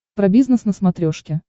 про бизнес на смотрешке